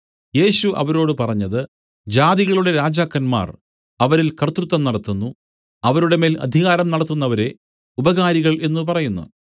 യേശു അവരോട് പറഞ്ഞത് ജാതികളുടെ രാജാക്കന്മാർ അവരിൽ കർത്തൃത്വം നടത്തുന്നു അവരുടെ മേൽ അധികാരം നടത്തുന്നവരെ ഉപകാരികൾ എന്നു പറയുന്നു